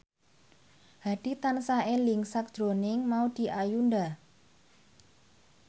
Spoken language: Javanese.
Hadi tansah eling sakjroning Maudy Ayunda